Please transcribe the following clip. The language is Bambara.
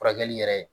Furakɛli yɛrɛ